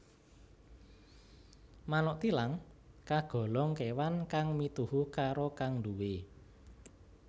Manuk thilang kagolong kewan kang mituhu karo kang nduwé